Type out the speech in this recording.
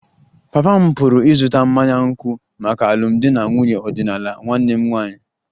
Papa m pụrụ ịzụta mmanya nkwụ maka alụmdi na nwunye ọdịnala nwanne m nwanyị